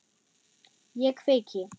Ég kveiki.